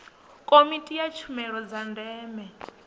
komiti ya tshumelo dza ndeme